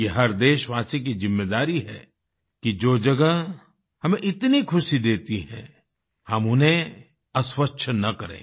ये हर देशवासी की ज़िम्मेदारी है कि जो जगह हमें इतनी खुशी देती हैं हम उन्हें अस्वच्छ न करें